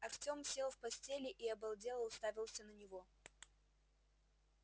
артем сел в постели и обалдело уставился на него